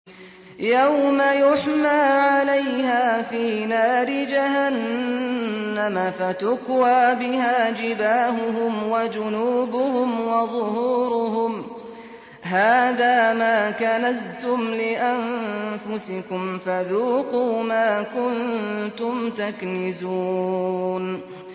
يَوْمَ يُحْمَىٰ عَلَيْهَا فِي نَارِ جَهَنَّمَ فَتُكْوَىٰ بِهَا جِبَاهُهُمْ وَجُنُوبُهُمْ وَظُهُورُهُمْ ۖ هَٰذَا مَا كَنَزْتُمْ لِأَنفُسِكُمْ فَذُوقُوا مَا كُنتُمْ تَكْنِزُونَ